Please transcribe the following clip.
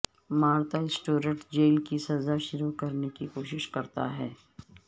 مارتا سٹیورٹ جیل کی سزا شروع کرنے کی کوشش کرتا ہے